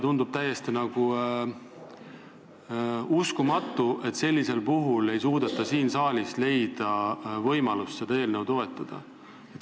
Tundub täiesti uskumatu, et nüüd ei suudeta siin saalis leida võimalust seda eelnõu toetada.